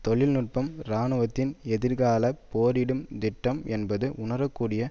தொழில்நுட்பம் இராணுவத்தின் எதிர்காலப் போரிடும் திட்டம் என்பது உணரக்கூடிய